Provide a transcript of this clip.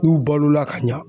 N'u balola ka ɲa